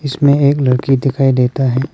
इसमें एक लड़की दिखाई देता है।